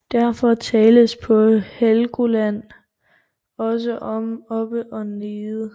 Derfor tales på Helgoland også om oppe og nede